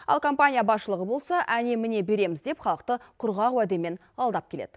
ал компания басшылығы болса әне міне береміз деп халықты құрғақ уәдемен алдап келеді